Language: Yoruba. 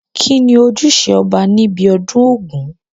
kín ni ojúṣe ọba ní ibi ọdún ògún?